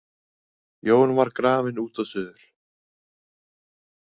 Jón var grafinn út og suður.